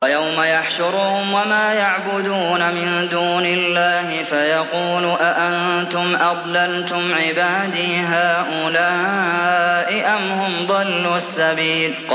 وَيَوْمَ يَحْشُرُهُمْ وَمَا يَعْبُدُونَ مِن دُونِ اللَّهِ فَيَقُولُ أَأَنتُمْ أَضْلَلْتُمْ عِبَادِي هَٰؤُلَاءِ أَمْ هُمْ ضَلُّوا السَّبِيلَ